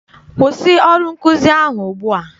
Kwụsị ọrụ nkụzi ahụ ugbua!